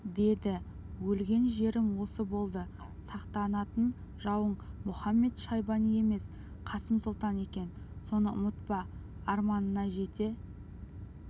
деді өлген жерім осы болды сақтанатын жауың мұхамед-шайбани емес қасым сұлтан екен соны ұмытпа арманына жете